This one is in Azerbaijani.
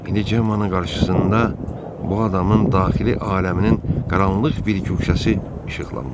İndi Cemmanın qarşısında bu adamın daxili aləminin qaranlıq bir guşəsi işıqlanmışdı.